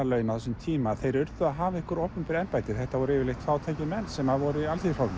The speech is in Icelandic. þingmannalaun á þessum tíma að þeir urðu að hafa einhver opinber embætti þetta voru yfirleitt fátækir menn sem voru í Alþýðuflokknum